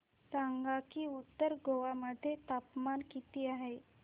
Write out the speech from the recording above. सांगा की उत्तर गोवा मध्ये तापमान किती आहे